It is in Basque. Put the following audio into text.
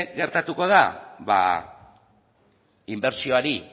gertatuko da inbertsioari